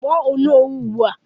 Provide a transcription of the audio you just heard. Kpọọ Onowu ugbu a!